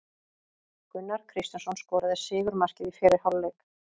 Gunnar Kristjánsson skoraði sigurmarkið í fyrri hálfleik.